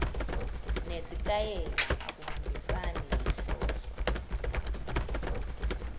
nesitayela akuhambisani nenhloso